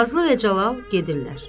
Nazlı və Cəlal gedirlər.